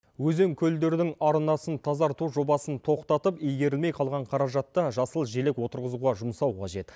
өзен көлдердің арнасын тазарту жобасын тоқтатып игерілмей қалған қаражатты жасыл желек отырғызуға жұмсау қажет